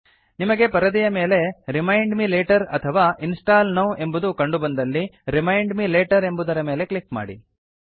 ನಿಮಗೆ ಪರದೆಯ ಮೇಲೆ ರಿಮೈಂಡ್ ಮೆ ಲೇಟರ್ ಅಥವಾ ಇನ್ಸ್ಟಾಲ್ ನೌ ಎಂಬುದು ಕಂಡುಬಂದಲ್ಲಿ ರಿಮೈಂಡ್ ಮೆ ಲೇಟರ್ ಎಂಬುದರ ಮೇಲೆ ಕ್ಲಿಕ್ ಮಾಡಿ